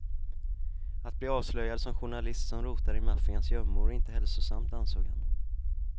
Att bli avslöjad som journalist som rotar i maffians gömmor är inte hälsosamt, ansåg han.